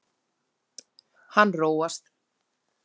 Hann róast.